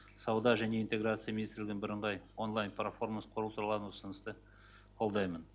сауда және интеграция министрлігінің бірыңғай онлайн платформасын құру туралы ұсынысты қолдаймын